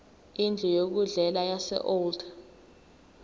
indlu yokudlela yaseold